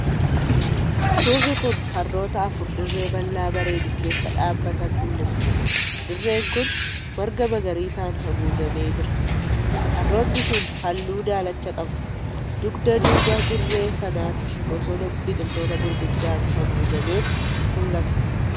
Suurri kun harroota afur dirree bal'aa bareedu keessa dhaabatan mul'isa. Dirreen kun marga magariisaan haguugamee jira. Harrootni sun halluu daalacha qabu; dugda duuba dirree sanaatti bosona biqiltoota gurguddaan haguugametu mul'ata.